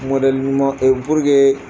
ɲuman